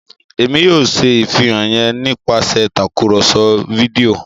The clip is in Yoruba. Èmí yóò ṣe ìfihàn yén nipasẹ Tàkùrọ̀sọ fídíò